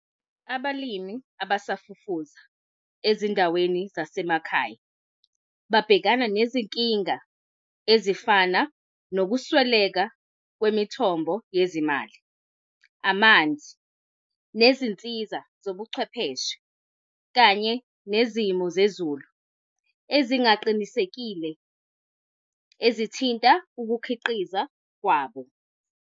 Abalimi abasafufusa ezindaweni zasemakhaya babhekana nezinkinga ezifana, nokusweleka kwemithombo yezimali, amanzi, nezinsiza zobuchwepheshe, kanye nezimo zezulu ezingaqinisekile ezithinta ukukhiqiza kwabo.